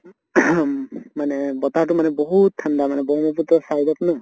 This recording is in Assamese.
মানে বতাহ্তো মানে বহুত ঠান্দা মানে ব্ৰহ্মপুত্ৰৰ side ত ন